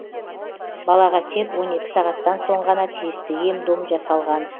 балаға тек он екі сағаттан соң ғана тиісті ем дом жасалған